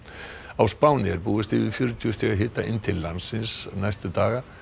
á Spáni er búist við yfir fjörutíu stiga hita inn til landsins næstu daga